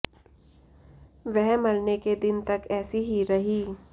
वह मरने के दिन तक ऐसी ही रही